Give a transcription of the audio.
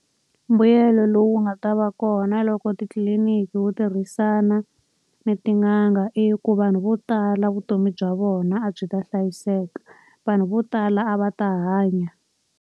Mbuyelo lowu nga ta va kona loko titliliniki wu tirhisana ni tin'anga i ku vanhu vo tala vutomi bya vona a byi ta hlayiseka. Vanhu vo tala a va ta hanya.